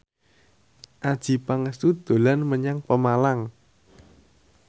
Adjie Pangestu dolan menyang Pemalang